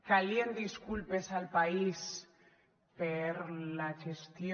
calien disculpes al país per la gestió